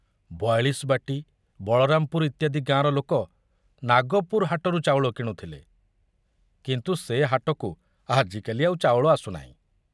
ବୟାଳିଶବାଟି, ବଳରାମପୁର ଇତ୍ୟାଦି ଗାଁର ଲୋକ ନାଗପୁର ହାଟରୁ ଚାଉଳ କିଣୁଥିଲେ, କିନ୍ତୁ ସେ ହାଟକୁ ଆଜିକାଲି ଆଉ ଚାଉଳ ଆସୁନାହିଁ।